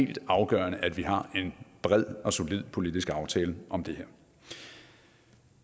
helt afgørende at vi har en bred og solid politisk aftale om det her